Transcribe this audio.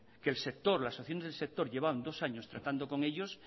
que el sector las asociaciones del sector llevaban dos años tratando con ellos